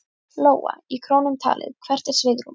Lóa: Í krónum talið, hvert er svigrúmið?